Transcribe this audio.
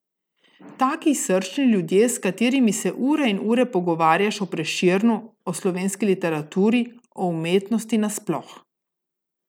Taki srčni ljudje, s katerimi se ure in ure pogovarjaš o Prešernu, o slovenski literaturi, o umetnosti na sploh.